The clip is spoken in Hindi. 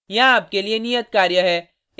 यहाँ आपके लिए नियत कार्य है